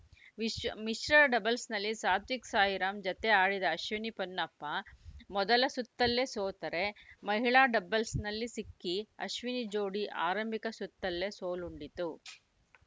ಮಿಶ್ ಮಿಶ್ರ ಡಬಲ್ಸ್‌ನಲ್ಲಿ ಸಾತ್ವಿಕ್‌ ಸಾಯಿರಾಮ್ ಜತೆ ಆಡಿದ ಅಶ್ವಿನಿ ಪೊನ್ನಪ್ಪ ಮೊದಲ ಸುತ್ತಲ್ಲೇ ಸೋತರೆ ಮಹಿಳಾ ಡಬಲ್ಸ್‌ನಲ್ಲಿ ಸಿಕ್ಕಿಅಶ್ವಿನಿ ಜೋಡಿ ಆರಂಭಿಕ ಸುತ್ತಲ್ಲೇ ಸೋಲುಂಡಿತು